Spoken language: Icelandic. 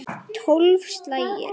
Tólf slagir!